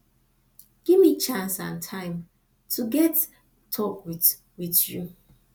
give me chance and time to get talk with with you